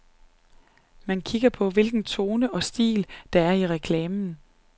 Man kigger på, hvilken tone og stil, der er i reklamen.